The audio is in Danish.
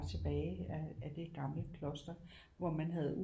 Tilbage af det gamle kloster hvor man havde